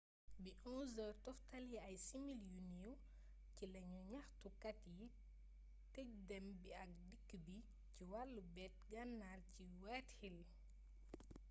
bi 11:00 toftale ay simili yu ndaw ci la ñaxtu kat yi tej dém bi ak dikk bi ci wallu beet gannar ci whitehall